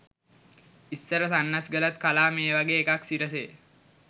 ඉස්සර සන්නස්ගලත් කලා මේ වගේ එකක් සිරසේ